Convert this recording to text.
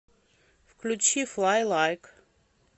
включи флай лайк